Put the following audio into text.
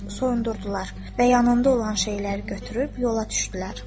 soyunurdular və yanında olan şeyləri götürüb yola düşdülər.